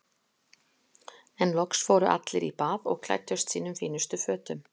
En loks fóru allir í bað og klæddust sínum fínustu fötum.